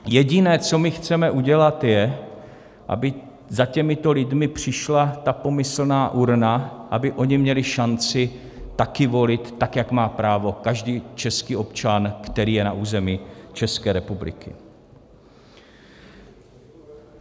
Jediné, co my chceme udělat, je, aby za těmito lidmi přišla ta pomyslná urna, aby oni měli šanci taky volit tak, jako má právo každý český občan, který je na území České republiky.